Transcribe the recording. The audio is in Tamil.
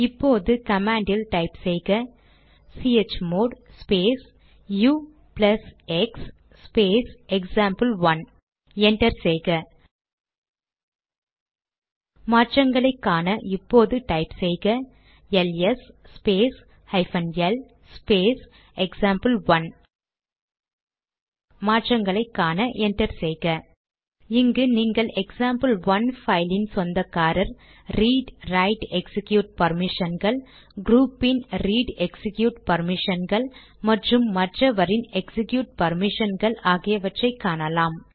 இப்போது கமாண்ட் டைப் செய்க C H mod space ux space example one enter செய்க மாற்றங்களை காண இப்போது டைப் செய்க L S space hyphen L space example one மாற்றங்களை காண என்டர் செய்க இங்கு நீங்கள் எக்சாம்பிள்1 பைலின் சொந்தக்காரரின் ரீட்ரைட்எக்சிக்யூட் பர்மிஷன்கள் க்ரூபின் ரீட் எக்சிக்யூட் பர்மிஷன்கள் மற்றும் மற்றவரின் எக்சிக்யூட் பர்மிஷன்கள் ஆகியவற்றை காணலாம்